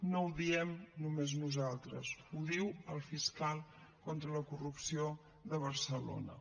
no ho diem només nosaltres ho diu el fiscal contra la corrupció de barcelona